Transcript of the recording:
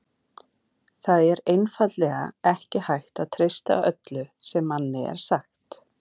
Það er einfaldlega ekki hægt að treysta öllu sem manni er sagt.